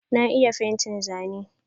Na iya fentin zanen.